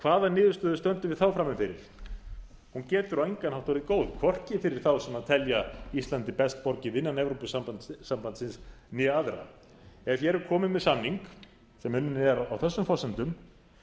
hvaða niðurstöðu stöndum við þá frammi fyrir hún getur á engan hátt orðið góð hvorki fyrir þá sem telja íslandi best borgið innan evrópusambandsins né aðra ef hér er komið með samning sem unninn er á þessum forsendum